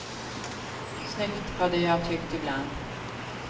Snyggt, hade jag tyckt ibland.